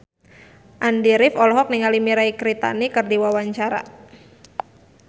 Andy rif olohok ningali Mirei Kiritani keur diwawancara